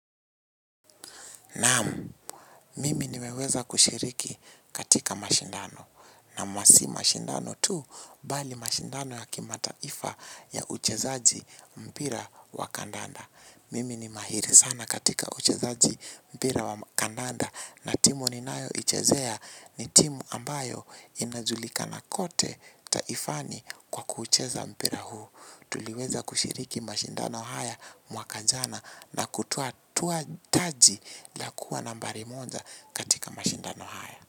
Naamu, mimi nimeweza kushiriki katika mashindano na masi mashindano tu bali mashindano ya kimataifa ya uchezaji mpira wa kandanda. Mimi ni mahiri sana katika uchezaji mpira wa kandanda na timu ni nayo uchezea ni timu ambayo inajulikana kote taifani kwa kuucheza mpira huu. Tuliweza kushiriki mashindano haya mwaka jana na kutoa taji la kuwa nambari moja katika mashindano haya.